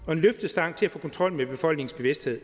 og en løftestang til at få kontrol med befolkningens bevidsthed